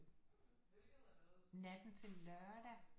Natten til lørdag